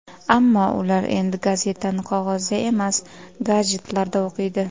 Ammo ular endi gazetani qog‘ozda emas, gadjetlarda o‘qiydi.